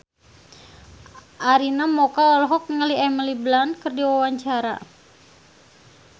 Arina Mocca olohok ningali Emily Blunt keur diwawancara